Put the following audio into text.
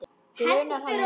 Grunar hann mig?